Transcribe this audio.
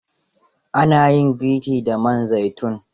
Ana yin girki da man zaitun